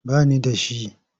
Ba ni da shi.